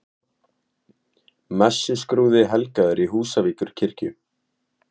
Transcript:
Messuskrúði helgaður í Húsavíkurkirkju